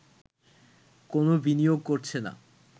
কোন বিনিয়োগ করছে না